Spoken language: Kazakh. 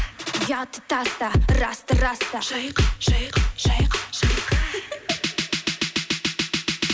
ұятты таста расты раста шайқа шайқа шайқа шайқа